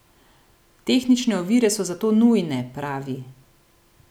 Tehnične ovire so zato nujne, pravi.